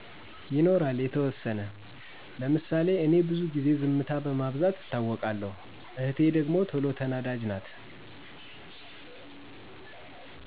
ይኖራል የተወሰነ፦ ለምሣሌ እኔ ብዙ ጊዜ ዝምታ በማብዛት እታወቃለሁ፣ እህቴ ደግሞ ተሎ ተናዳጅ ናት